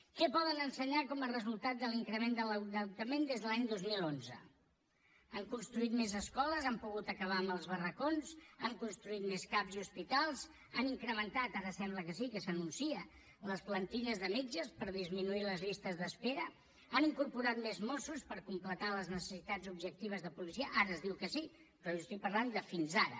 què poden ensenyar com a resultat de l’increment de l’endeutament des de l’any dos mil onze han construït més escoles han pogut acabar amb els barracons han construït més cap i hospitals han incrementat ara sembla que sí que s’anuncia les plantilles de metges per disminuir les llistes d’espera han incorporat més mossos per completar les necessitats objectives de policia ara es diu que sí però jo estic parlant de fins ara